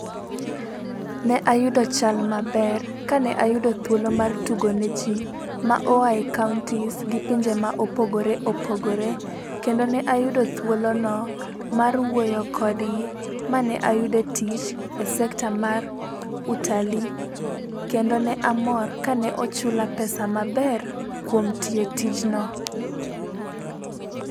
Ne ayudo chal maber kane ayudo thuolo mar tugo ne ji, ma ohae counties gi pinje ma opogore opogore, kendo ne ayudo thuolono mar wuoyo kodgi, mane ayudo tich e sekta mar utalii kendo ne amor kane ochula pesa maber kuom tiyo tijno.